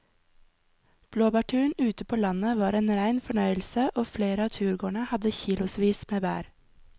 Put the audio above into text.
Blåbærturen ute på landet var en rein fornøyelse og flere av turgåerene hadde kilosvis med bær.